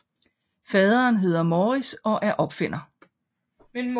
Faderen hedder Maurice og er opfinder